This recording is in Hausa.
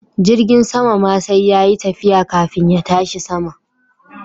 Jirgin sama ma sai yayi tafiya kafin ya tashi sama.